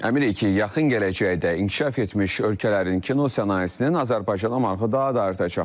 Əminik ki, yaxın gələcəkdə inkişaf etmiş ölkələrin kino sənayesinin Azərbaycana marağı daha da artacaq.